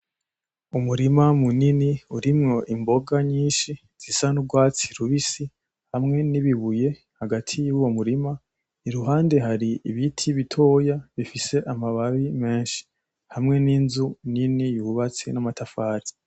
Umurima munini urimwo imboga nyinshi zisa n'urwatsi rubisi hamwe nibi buye hagati mu murima, iruhande hari ibiti bitoya bifis amababi menshi hamwe n'inzu nini yubatse n'amatafari.